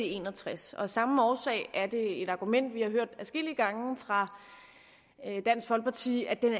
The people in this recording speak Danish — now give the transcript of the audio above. en og tres og af samme årsag er det et argument vi har hørt adskillige gange fra dansk folkeparti at den